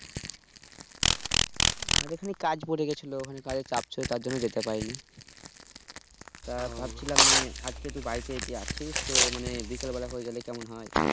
আরে খানিক কাজ পরে গিয়েছিলো কাজের চাপ ছিল তার জন যেতে পারিনি তা ভাবছিলাম আজকে তু বাড়িতে যদি আছিস তো মানে বিকেলবেলা করে গেলে কেমন হয়